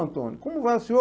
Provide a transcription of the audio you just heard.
Antônio, como vai o senhor?